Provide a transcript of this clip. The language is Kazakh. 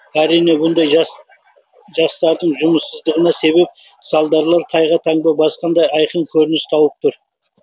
әрине бұндай жастардың жұмыссыздығына себеп салдарлар тайға таңба басқандай айқын көрініс тауып тұр